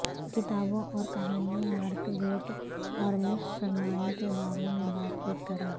کتابوں اور کہانیاں مارگریٹ اور مس سرمائی کے بارے میں بات چیت کریں